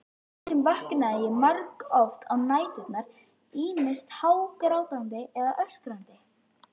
Stundum vaknaði ég margoft á næturnar, ýmist hágrátandi eða öskrandi.